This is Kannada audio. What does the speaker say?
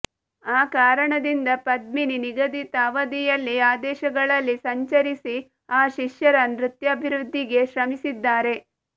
ಆ ಕಾರಣದಿಂದ ಪದ್ಮಿನಿ ನಿಗದಿತ ಅವಧಿಯಲ್ಲಿ ಆದೇಶಗಳಲ್ಲಿ ಸಂಚರಿಸಿ ಆ ಶಿಷ್ಯರ ನೃತ್ಯಾಭಿವೃದ್ಧಿಗೆ ಶ್ರಮಿಸಿದ್ದಾರೆ